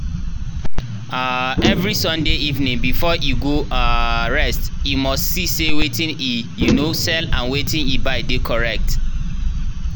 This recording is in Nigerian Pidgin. um every sunday evening before e go um rest e must see say wetin e um sell and wetin e buy dey correct.